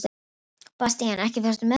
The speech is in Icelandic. Bastían, ekki fórstu með þeim?